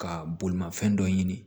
Ka bolimanfɛn dɔ ɲini